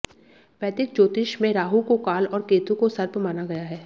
वैदिक ज्योतिष में राहु को काल और केतु को सर्प माना गया है